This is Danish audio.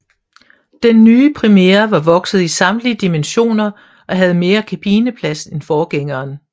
Den nye Primera var vokset i samtlige dimensioner og havde mere kabineplads end forgængeren